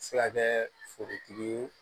Se ka kɛ forotigi ye